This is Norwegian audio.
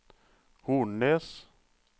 Hornnes